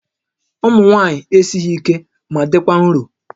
Ụmụ nwaanyị esighi ike ma dịkwa nro